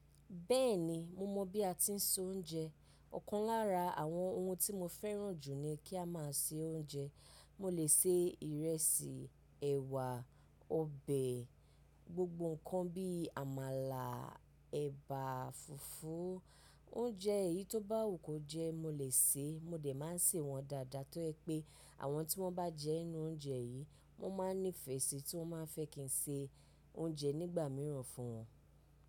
Bẹ́ẹ̀ni, mo mọ̀ bí a ti ń sè oúnjẹ. Ọ̀kan lára àwọn ohun tí mo fẹ́ràn jù ni kí a máa sè oúnjẹ. Mo lè sè ìrẹsì, ẹ̀wà, ọbẹ̀, gbogbo ǹkan bí àmàlà, ẹ̀bà, fùfú. Oúnjẹ èyí tó bá wù kó jẹ, mo lè sè é. Mo dè máa ń sè wọ́n dáadáa tó ẹ pé àwọn tí wọ́n bá jẹ inú oúnjẹ yìí, wọ́n máa ń nífẹ̀ẹ́ sí i tí wọ́n máa fẹ́ kí n sè oúnjẹ nígbà mìíràn fún wọn.